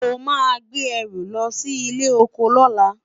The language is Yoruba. o má gbé ẹrù lọsí ilé ọkọ lola